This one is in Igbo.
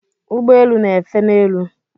Ụgbọelu n'éfè n'elu.